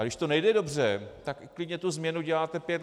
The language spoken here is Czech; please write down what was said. A když to nejde dobře, tak klidně tu změnu děláte pět let.